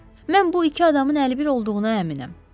Mən bu iki adamın əlbir olduğuna əminəm, dedim.